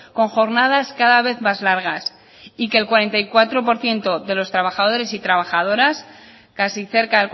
con jornadas cada vez más largas y que el cuarenta y cuatro por ciento de los trabajadores y trabajadoras casi cerca